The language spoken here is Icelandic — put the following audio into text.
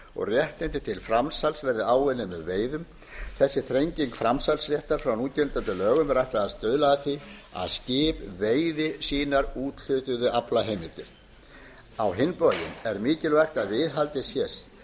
og réttindi til framsals verði áunnin með veiðum þessi þrenging framsalsréttar frá núgildandi lögum er ætlað að stuðla að því að skip veiði sínar úthlutuðu aflaheimildir á hinn bóginn er mikilvægt að viðhaldið